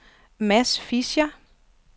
Mads Fischer